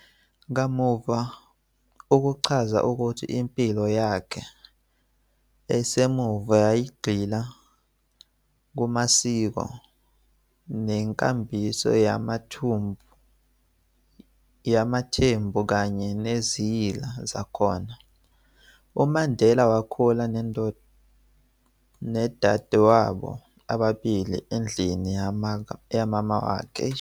Kamuva ukuchaza ukuthi impilo yakhe esemuva yayigxila kumasiko nenkambiso yamaThembu kanye neziyila zakhona, UMandela wakhula nodadewabo ababili endlini kamamawakhe esigodini sakubo saseQunu, lapho khona owayengumelusi wezinkomo, echitha isikhathi esiningi nabanye abafana.